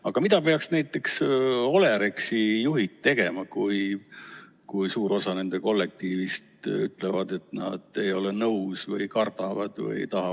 Aga mida peaks näiteks Olerexi juhid tegema, kui suur osa nende kollektiivist ütleb, et nad ei ole nõus vaktsineerimisega?